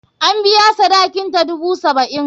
An biya sadakinta, dubu saba'in.